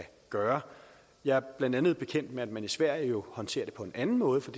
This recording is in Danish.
gøre jeg er blandt andet bekendt med man i sverige håndterer det på en anden måde for